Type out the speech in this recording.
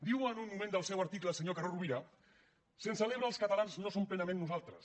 diu en un moment del seu article el senyor carod rovira sense l’ebre els catalans no som plenament nosaltres